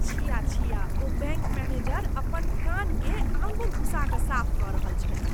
छिया छिया! ओ बैङ्क मैनेजर अपन कानकेँ आँगुर घुसा कऽ साफ कऽ रहल छलीह।